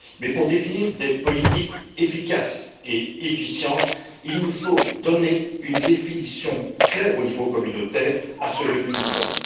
Mais pour définir des politiques efficaces et efficientes, il nous faut donner une définition claire au niveau communautaire à ce revenu minimum.